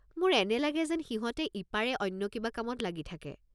মোৰ এনে লাগে যেন সিহঁতে ইপাৰে অন্য কিবা কামত লাগি থাকে।